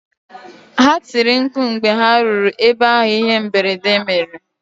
Ha tiri mkpu mgbe ha ruru ebe ahụ ihe mberede mere